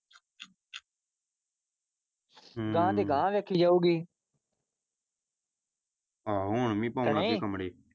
ਹਮ ਗਾਹ ਦੀ ਗਾਹ ਵੇਖੀ ਜਾਊਗੀ ਆਹੋ ਹੁਣ ਵੀ ਪਾਉਣ ਲੱਗੇ ਕਮਰੇ।